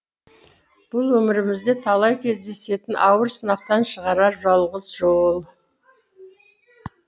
бұл өмірімізде талай кездесетеін ауыр сынақтан шығарар жалғыз жол